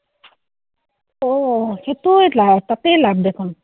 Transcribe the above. অ’, সেইটো আহ তাতেই লাভ দেখোন।